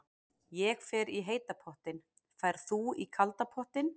Ég fer í heita pottinn. Ferð þú í kalda pottinn?